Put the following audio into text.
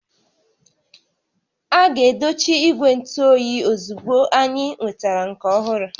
A ga-edochi ígwè ntụ óyiozugbo anyị nwetara nke ọhụrụ